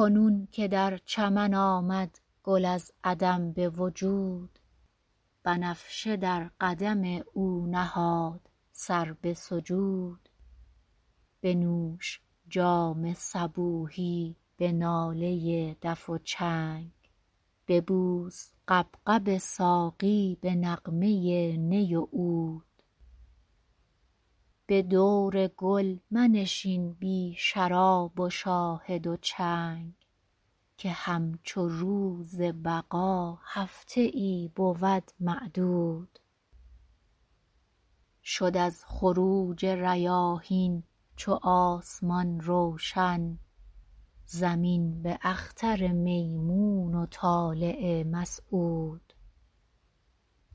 کنون که در چمن آمد گل از عدم به وجود بنفشه در قدم او نهاد سر به سجود بنوش جام صبوحی به ناله دف و چنگ ببوس غبغب ساقی به نغمه نی و عود به دور گل منشین بی شراب و شاهد و چنگ که همچو روز بقا هفته ای بود معدود شد از خروج ریاحین چو آسمان روشن زمین به اختر میمون و طالع مسعود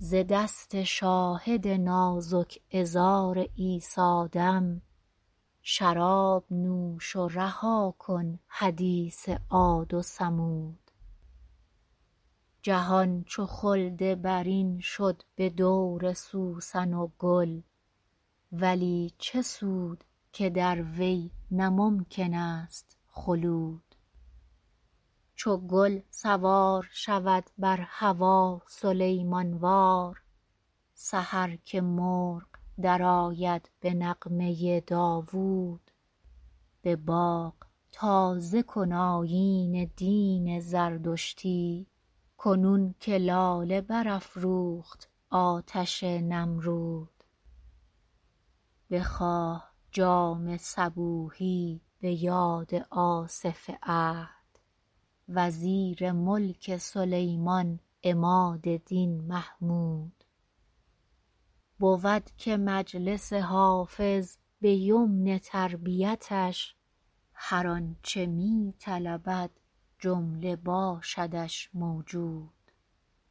ز دست شاهد نازک عذار عیسی دم شراب نوش و رها کن حدیث عاد و ثمود جهان چو خلد برین شد به دور سوسن و گل ولی چه سود که در وی نه ممکن است خلود چو گل سوار شود بر هوا سلیمان وار سحر که مرغ درآید به نغمه داوود به باغ تازه کن آیین دین زردشتی کنون که لاله برافروخت آتش نمرود بخواه جام صبوحی به یاد آصف عهد وزیر ملک سلیمان عماد دین محمود بود که مجلس حافظ به یمن تربیتش هر آن چه می طلبد جمله باشدش موجود